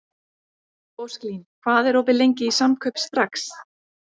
Ósklín, hvað er opið lengi í Samkaup Strax?